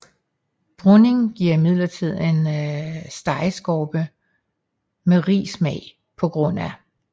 Bruning giver imidlertid en stegeskorpe med rig smag pga